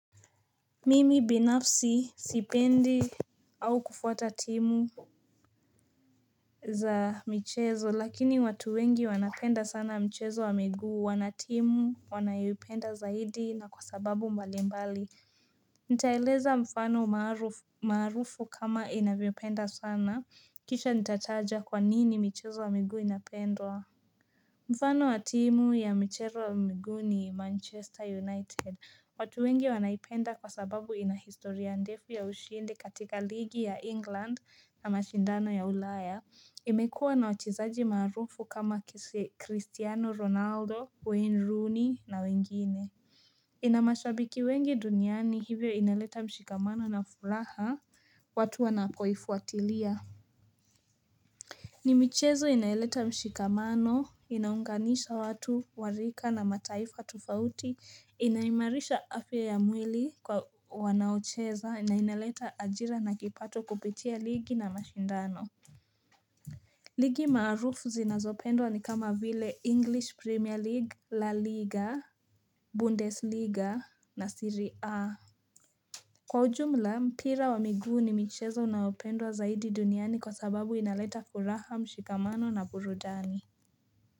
Mimi binafsi sipendi au kufuata timu za michezo lakini watu wengi wanapenda sana mchezo wa miguu wana timu wanayoipenda zaidi na kwa sababu mbali mbali Nitaeleza mfano maarufu kama inavyopenda sana kisha nitataja kwa nini michezo wa miguu inapendwa Mfano wa timu ya michezo wa miguu ni manchester united watu wengi wanaipenda kwa sababu ina historia ndefu ya ushindi katika ligi ya England na mashindano ya ulaya imekuwa na wachezaji maarufu kama Cristiano Ronaldo, Wayne Rooney na wengine ina mashabiki wengi duniani hivyo inaleta mshikamano na furaha watu wanapoifuatilia ni michezo inayoleta mshikamano, inaunganisha watu, wa rika na mataifa tofauti, inaimarisha afya ya mwili kwa wanaocheza, na inaleta ajira na kipato kupitia ligi na mashindano. Ligi maarufu zinazopendwa ni kama vile English Premier League, la Liga, Bundes liga na Serie A. Kwa ujumla mpira wa miguu ni michezo unaopendwa zaidi duniani kwa sababu inaleta furaha mshikamano na burudani.